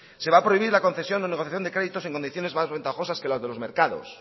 se va a prohibir la concesión o negociación de créditos en condiciones más ventajosas que las de los mercados